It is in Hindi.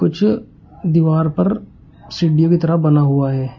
जो दीवार पर सीडी की तरह बना हुआ है।